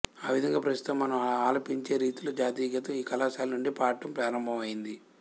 ఆ విధంగా ప్రస్తుతం మనం ఆలపించే రీతిలో జాతీయగీతం ఈ కళాశాల నుండే పాడటం ప్రారంభమయ్యింది